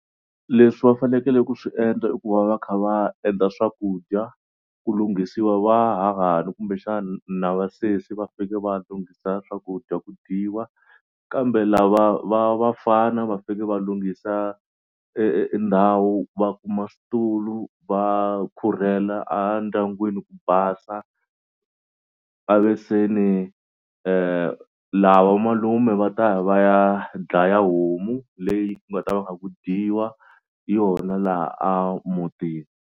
Leswi va fanekele ku swi endla i ku va va kha va endla swakudya ku lunghisiwa vahahani kumbexana na vasesi va faneke va lunghisa swakudya ku dyiwa kambe lava va vafana va faneke va lunghisa e e ndhawu va kuma switulu va khurhela endyangwini ku basa va ve se ni lava vamalume va ta va ya dlaya homu leyi ku nga ta va kha ku dyiwa yona laha a mutini.